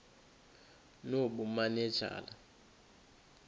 nobumanejala